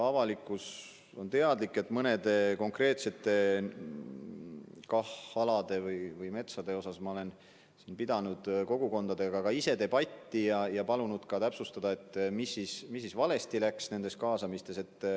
Avalikkus on teadlik, et mõnede konkreetsete KAH alade või metsade teemal ma olen ka ise kogukondadega debatti pidanud ja palunud täpsustada, mis siis valesti läks nendes kaasamistes.